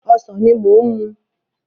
Ọsàn ni mò ń mú.